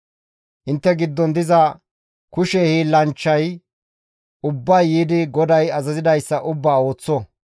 «Intte giddon diza kushe hiillanchchay ubbay yiidi GODAY azazidayssa ubbaa ooththo.